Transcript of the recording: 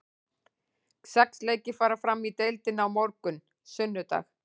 Sex leikir fara fram í deildinni á morgun, sunnudag.